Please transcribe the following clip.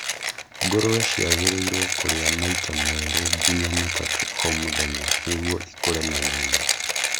Ngũrũe ciagĩrĩirwo kũrĩa maita merĩ nginya matatũ o mũthenya nĩguo ikũre naihenya.